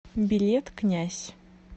билет князь